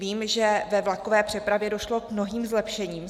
Vím, že ve vlakové přepravě došlo k mnohým zlepšením.